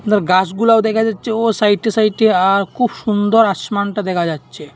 আর গাছগুলাও দেখা যাচ্ছে ও সাইটে সাইটে দিয়ে আর খুব সুন্দর আসমানটা দেখা যাচ্ছে।